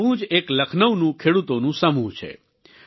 આવું જ એક લખનૌનું ખેડૂતોનું સમૂહ છે